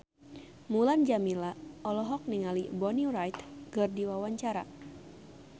Mulan Jameela olohok ningali Bonnie Wright keur diwawancara